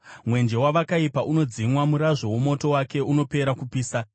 “Mwenje weakaipa unodzimwa; murazvo womoto wake unopera kupisa.